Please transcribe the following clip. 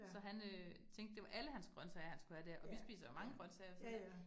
Så han øh tænkte, det var alle hans grøntsager, han skulle have der, og vi spiser jo mange grøntsager så det